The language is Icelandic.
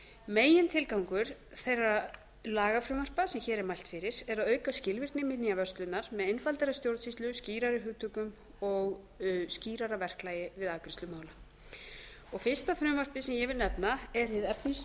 megintilgangur þeirra lagafrumvarpa sem hér er mælt fyrir er að auka skilvirkni minjavörslunnar með einfaldari stjórnsýslu skýrari hugtökum og skýrara verklagi við afgreiðslu mála fyrsta frumvarpið sem ég vil nefna er hið efnismesta